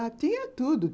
Ah, tinha tudo.